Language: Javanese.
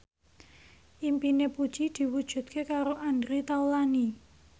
impine Puji diwujudke karo Andre Taulany